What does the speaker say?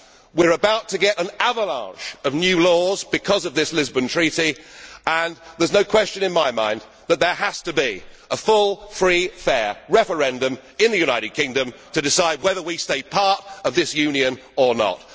here. We are about to get an avalanche of new laws because of this Lisbon Treaty and there is no question in my mind that there has to be a full, free, fair referendum in the United Kingdom to decide whether we stay part of this Union or